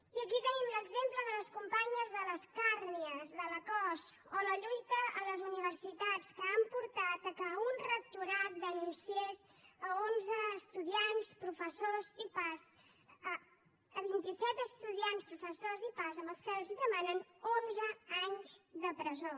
i aquí tenim l’exemple de les companyes de les càrnies de la cos o la lluita a les universitats que han portat que un rectorat denunciés vint i set estudiants professors i pas a qui els demanen onze anys de presó